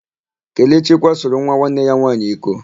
Kelechi kwasoro nwa nwanne ya nwaanyị iko.